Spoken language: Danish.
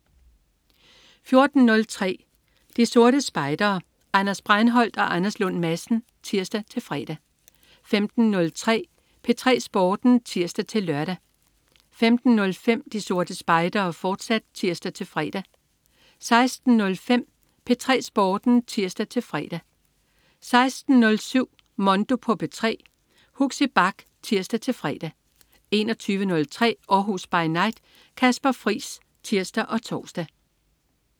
14.03 De Sorte Spejdere. Anders Breinholt og Anders Lund Madsen (tirs-fre) 15.03 P3 Sporten (tirs-lør) 15.05 De Sorte Spejdere, fortsat (tirs-fre) 16.05 P3 Sporten (tirs-fre) 16.07 Mondo på P3. Huxi Bach (tirs-fre) 21.03 Århus By Night. Kasper Friis (tirs og tors)